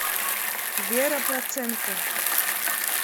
вера проценко